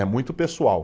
É muito pessoal.